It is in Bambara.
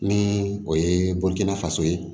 Ni o ye bɔli kɛnɛ faso ye